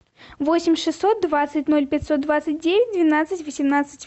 восемь шестьсот двадцать ноль пятьсот двадцать девять двенадцать восемнадцать